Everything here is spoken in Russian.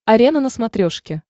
арена на смотрешке